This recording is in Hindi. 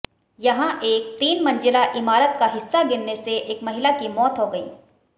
यहां एक तीन मंज़िला इमारत का हिस्सा गिरने से एक महिला की मौत हो गई